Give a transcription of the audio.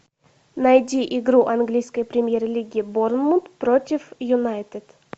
найди игру английской премьер лиги борнмут против юнайтед